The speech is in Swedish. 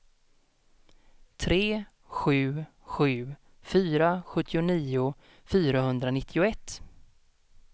tre sju sju fyra sjuttionio fyrahundranittioett